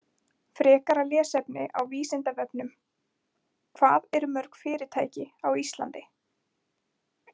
Frekara lesefni á Vísindavefnum: Hvað eru mörg fyrirtæki á Íslandi?